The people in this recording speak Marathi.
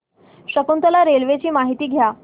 शकुंतला रेल्वे ची माहिती द्या